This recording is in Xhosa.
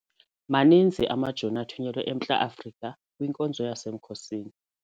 Maninzi amajoni athunyelwe eMntla-Afrika kwinkonzo yasemkhosini.